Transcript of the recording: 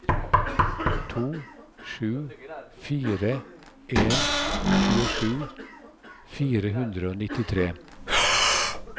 to sju fire en tjuesju fire hundre og nittitre